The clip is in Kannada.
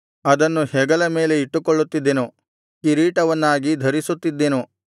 ಅದನ್ನು ಹೆಗಲ ಮೇಲೆ ಇಟ್ಟುಕೊಳ್ಳುತ್ತಿದ್ದೆನು ಕಿರೀಟವನ್ನಾಗಿ ಧರಿಸುತ್ತಿದ್ದೆನು